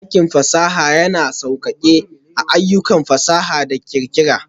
Dakin fasaha yana sauƙaƙe ayyukan fasaha da ƙirƙira.